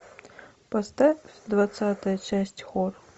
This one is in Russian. поставь двадцатая часть хор